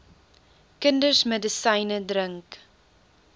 kinders medisyne drink